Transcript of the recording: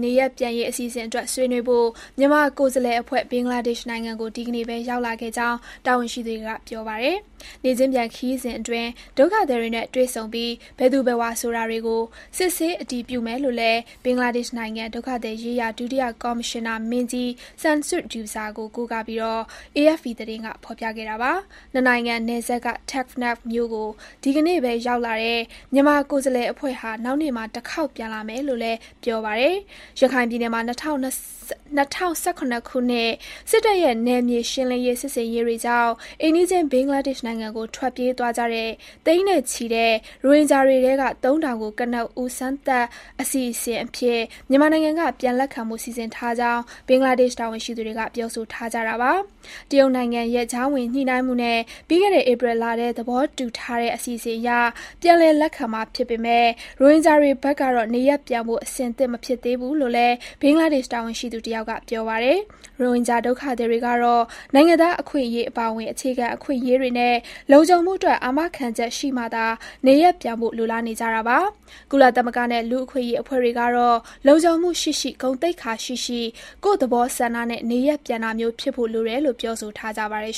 နေရပ်ပြန်ရေး အစီအစဉ်အတွက် ဆွေးနွေးဖို့ မြန်မာကိုယ်စားလှယ်အဖွဲ့ ဘင်္ဂလားဒေ့ရှ်နိုင်ငံကို ဒီကနေ့ပဲ ရောက်လာခဲ့ကြောင်း တာဝန်ရှိသူတွေက ပြောပါတယ်။ နေ့ချင်းပြန် ခရီးစဉ်အတွင်း ဒုက္ခသည်တွေနဲ့ တွေ့ဆုံပြီး၊ ဘယ်သူဘယ်ဝါ ဆိုတာတွေကို စစ်ဆေးအတည်ပြုမယ်လို့လည်း ဘင်္ဂလားဒေ့ရှ်နိုင်ငံ ဒုက္ခသည်ရေးရာ ဒုတိယကော်မရှင်နာမင်းကြီး Shamsud Douza ကို ကိုးကားပြီး AFP သတင်းက ဖော်ပြခဲ့တာပါ။ ၂ နိုင်ငံ နယ်စပ်က Teknaf မြို့ကို ဒီကနေ့ပဲ ရောက်လာတဲ့ မြန်မာကိုယ်စားလှယ် အဖွဲ့ဟာ နောက်နေ့မှာ တခေါက်ပြန်လာမယ်လို့လည်း ပြောပါတယ်။ ရခိုင်ပြည်နယ်မှာ ၂၀၁၇ ခုနှစ် စစ်တပ်ရဲ့ နယ်မြေရှင်းလင်းရေး စစ်ဆင်ရေးတွေကြောင့် အိမ်နီးချင်း ဘင်္ဂလားဒေ့ရှ်နိုင်ငံကို ထွက်ပြေးသွားကြတဲ့ သိန်းနဲ့ချီတဲ့ ရိုဟင်ဂျာတွေထဲက ၃ ထောင်ကို ကနဦး စမ်းသပ်အစီအစဉ်အဖြစ် မြန်မာနိုင်ငံက ပြန်လက်ခံဖို့ စီစဉ်ထားကြောင်း ဘင်္ဂလားဒေ့ရှ် တာဝန်ရှိသူတွေက ပြောဆိုထားကြတာပါ။ တရုတ်နိုင်ငံရဲ့ ကြားဝင်ညှိနှိုင်းမှုနဲ့ ပြီးခဲ့တဲ့ ဧပြီလထဲ သဘောတူထားတဲ့ အစီအစဉ်အရ ပြန်လည်လက်ခံမှာ ဖြစ်ပေမဲ့ ရိုဟင်ဂျာတွေဖက်ကတော့ နေရပ်ပြန်ဖို့ အဆင်သင့် မဖြစ်သေးဘူးလို့လည်း ဘင်္ဂလားဒေ့ရှ် တာဝန်ရှိသူတယောက်က ပြောပါတယ်။ ရိုဟင်ဂျာ ဒုက္ခသည်တွေကတော့ နိုင်ငံသား အခွင့်အရေး အပါအဝင် အခြေခံအခွင့်အရေးတွေနဲ့ လုံခြုံမှုအတွက် အာမခံချက် ရှိမှသာ နေရပ်ပြန်ဖို့ လိုလားနေကြတာပါ။ ကုလသမဂ္ဂနဲ့ လူ့အခွင့်အရေး အဖွဲ့တွေကတော့ လုံခြုံမှုရှိရှိ၊ ဂုဏ်သိက္ခာရှိရှိ ကိုယ့်သဘောဆန္ဒနဲ့ နေရပ်ပြန်တာမျိုး ဖြစ်ဖို့လိုတယ်လို့ ပြောဆိုထားကြပါတယ်